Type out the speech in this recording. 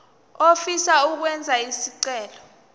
ofisa ukwenza isicelo